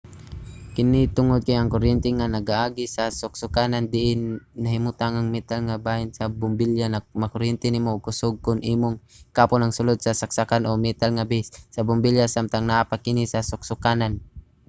kini tungod kay ang kuryente nga nagaagi sa suksokanan diin nahimutang ang metal nga bahin sa bombilya makakuryente nimo og kusog kon imong hikapon ang sulod sa saksakan o ang metal nga base sa bombilya samtang naa pa kini sa suksokanan